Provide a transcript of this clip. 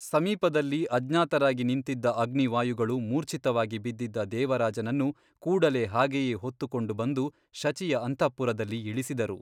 ಸಮೀಪದಲ್ಲಿ ಅಜ್ಞಾತರಾಗಿ ನಿಂತಿದ್ದ ಅಗ್ನಿವಾಯುಗಳು ಮೂರ್ಛಿತವಾಗಿ ಬಿದ್ದಿದ್ದ ದೇವರಾಜನನ್ನು ಕೂಡಲೇ ಹಾಗೆಯೇ ಹೊತ್ತುಕೊಂಡು ಬಂದು ಶಚಿಯ ಅಂತಃಪುರದಲ್ಲಿ ಇಳಿಸಿದರು.